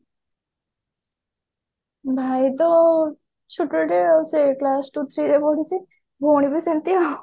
ଭାଇ ତ ଛୁଟଟେ ସେ class two three ରେ ପଢୁଛି ଭଉଣୀ ବି ସେମତି ଆଉ